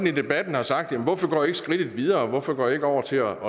i debatten hvorfor går i ikke skridtet videre hvorfor går i ikke over til at